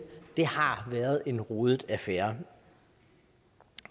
det har været en rodet affære